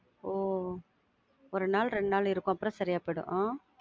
ஒ ஒரு நாள் ரெண்டு நாள் இருக்கும், அதுக்கப்புறம் சரியா போயிடும் உம்